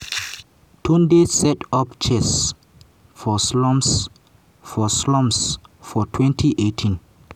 tunde set up chess for slums for slums for 2018.